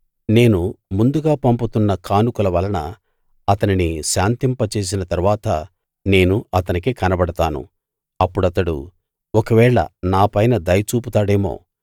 నేను ముందుగా పంపుతున్న కానుకల వలన అతనిని శాంతింపజేసిన తరువాత నేను అతనికి కనబడతాను అప్పుడతడు ఒకవేళ నా పైన దయ చూపుతాడేమో